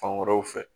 Fan wɛrɛw fɛ